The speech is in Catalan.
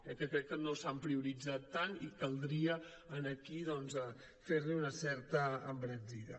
que crec que no s’han prioritzat tant i caldria aquí doncs fer hi una certa embranzida